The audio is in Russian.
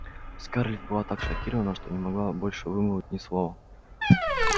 скарлетт была так шокирована что не могла больше вымолвить ни слова